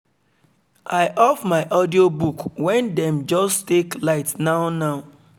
i off my audiobook when them just take light now now